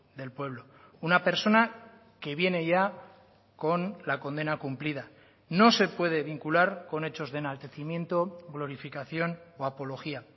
del pueblo una persona que viene ya con la condena cumplida no se puede vincular con hechos de enaltecimiento glorificación o apología